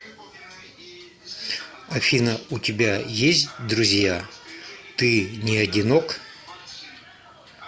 афина у тебя есть друзья ты не одинок